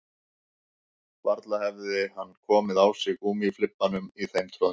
Varla hefði hann komið á sig gúmmíflibbanum í þeim troðningi